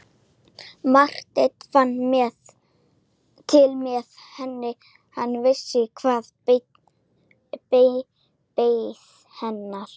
Marteinn fann til með henni, hann vissi hvað beið hennar.